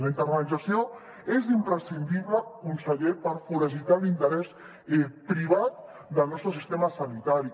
la internalització és imprescindible conseller per foragitar l’interès privat del nostre sistema sanitari